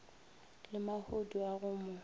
le mahodu a go mo